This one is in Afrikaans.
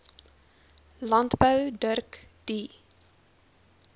landbou dirk du